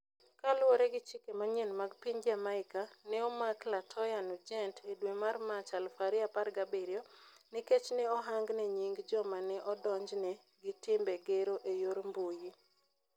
Kaluwore gi chike manyien mag piny Jamaica, ne omak La Toya Nugent e dwe mar Mach, 2017 nikech ne ohangne nying' joma ne odonjne gi timbe gero e yor mbuyi.